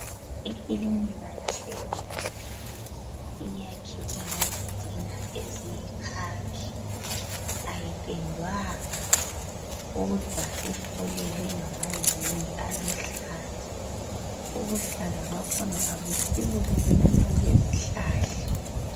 Ikilinika yase Luveve iyakhiwe ngezitina eziyikhakhi, ayipendwanga kodwa ifulelwe ngamazenge aluhlaza. Ubuhlaza bakhona abusibo lobuyana obezihlahla.